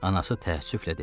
Anası təəssüflə dedi.